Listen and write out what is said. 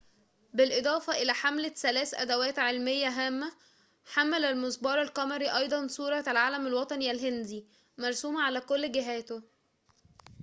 بالإضافة إلى حمله ثلاث أدواتٍ علميةٍ هامةٍ حمل المسبار القمري أيضاً صورة العلم الوطني الهندي مرسومةً على كل جهاته